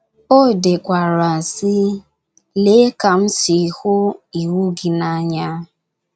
O dekwara, sị:: “ Lee ka m si hụ iwu gị n’anya!